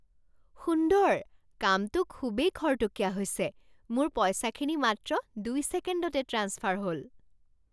সুন্দৰ। কামটো খুবেই খৰতকীয়া হৈছে। মোৰ পইচাখিনি মাত্ৰ দুই ছেকেণ্ডতে ট্ৰেন্সফাৰ হ'ল।